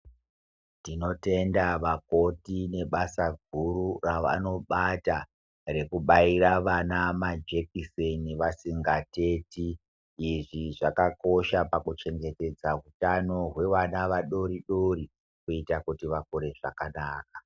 Tinotenda vakoti nebasa guru revanobata rekubaira vana majekiseni vasingateti. Izvi zvakakosha pakuchengetedza utano hwevana vadodori kuita kuti vakure zvakanaka.